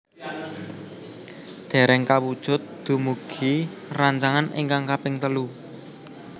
Dereng kawujud dumugi rancangan ingkang kaping telu